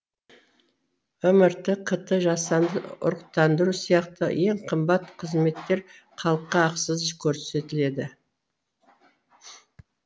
мрт кт жасанды ұрықтандыру сияқты ең қымбат қызметтер халыққа ақысыз көрсетіледі